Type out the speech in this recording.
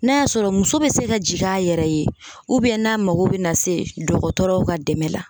N'a y'a sɔrɔ muso bɛ se ka jigin a yɛrɛ ye n'a mago bɛ na se dɔgɔtɔrɔw ka dɛmɛ la